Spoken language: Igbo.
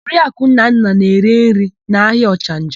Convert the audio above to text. Oriaku Nnanna na-ere nri n'ahịa Ọchanja.